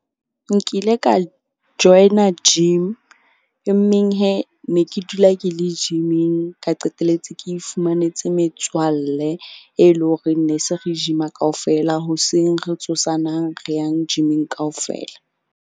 Nkile ka join-a gym. Emeng ne ke dula ke le gym-ing, ka qetelletse ke ifumanetse metswalle e leng horeng ne se re gym-a kaofela. Hoseng re tsosa nang re yang gym-ing kaofela.